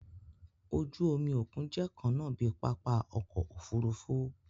Oju-omi okun jẹ kanna bi papa ọkọ ofurufu.